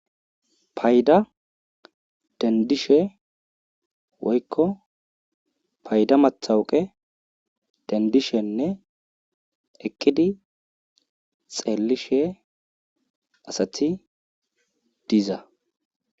Payda dendishe woykko payda matawuqqe dendishenne eqqidi xeelishe asati diza.